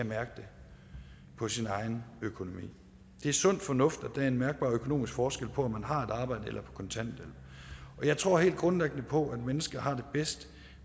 mærke det på sin egen økonomi det er sund fornuft at der er en mærkbar økonomisk forskel på om man har et arbejde eller er på kontanthjælp og jeg tror helt grundlæggende på at mennesker har det bedst